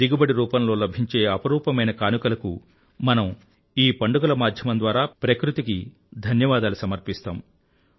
దిగుబడి రూపంలో లభించే అపురూపమైన కానుకలకు మనం ఈ పండుగల మాధ్యమం ద్వారా ప్రకృతికి ధన్యవాదాలు సమర్పిస్తాము